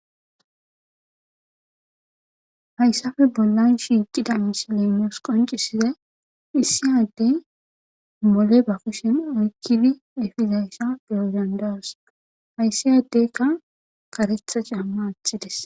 Hayssafe bollan shiiqida miselenos qoncisizay issi yaddey mole ba kushen oykkidi efizayssa bergandas hayssi adeykka karetha camma athides.